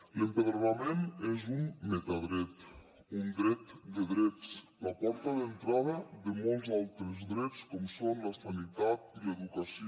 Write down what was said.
l’empadronament és un metadret un dret de drets la porta d’entrada de molts altres drets com són la sanitat i l’educació